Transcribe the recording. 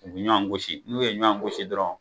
U bi ɲɔgɔan gosi n'u ye ɲɔan gosi dɔrɔn